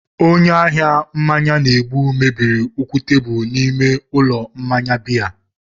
Onye ahịa mmanya na-egbu mebiri ụkwụ tebụl n'ime ụlọ mmanya biya.